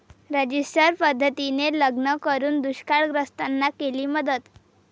register पद्धतीने लग्न करून दुष्काळग्रस्तांना केली मदत